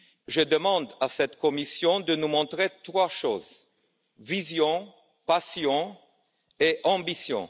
Je demande à cette Commission de nous montrer trois choses vision, passion et ambition.